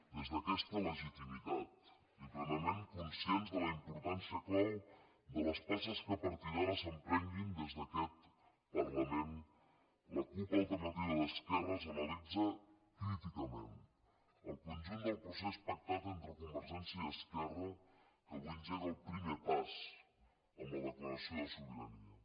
des d’aquesta legitimitat i plenament conscients de la importància clau de les passes que a partir d’ara s’emprenguin des d’aquest parlament la cup alternativa d’esquerres analitza críticament el conjunt del procés pactat entre convergència i esquerra que avui engega el primer pas amb la declaració de sobirania